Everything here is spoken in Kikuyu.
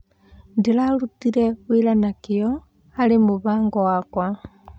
Ndĩrarutire wĩra na kĩo harĩ mũbango wakwa.